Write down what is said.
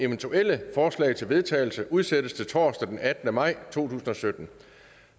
eventuelle forslag til vedtagelse udsættes til torsdag den attende maj to tusind og sytten